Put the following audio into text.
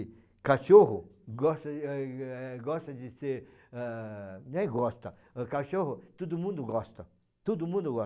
E cachorro gosta gosta de ser, ah... nem gosta, cachorro todo mundo gosta, todo mundo